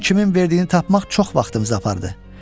Pulun kimin verdiyini tapmaq çox vaxtımızı apardı.